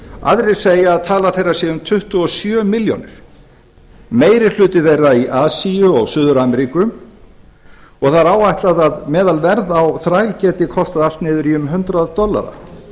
aðrir segja að tala þeirra sé um tuttugu og sjö milljónir meiri hluti þeirra í asíu og suður ameríku og það er áætlað að meðalverð á þær geti kostað allt niður í um hundrað dollara